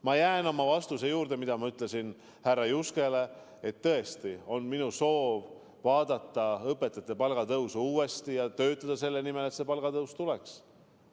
Ma jään oma vastuse juurde, mida ma ütlesin härra Juskele, et tõesti, minu soov on vaadata õpetajate palgatõus uuesti üle ja töötada selle nimel, et palgatõus tuleks.